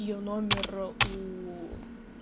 её номер у